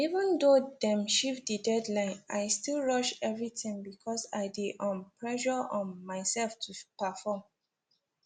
even though dem shift the deadline i still rush everything because i dey um pressure um myself to perform